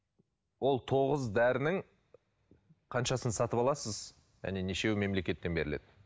ол тоғыз дәрінің қаншасын сатып аласыз және нешеуі мемлекеттен беріледі